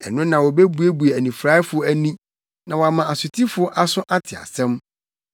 Ɛno na wobebue anifuraefo ani, na wɔama asotifo aso ate asɛm.